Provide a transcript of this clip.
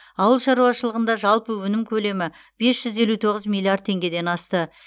ауыл шаруашылығында жалпы өнім көлемі бес жүз елу тоғыз миллиард теңгеден асты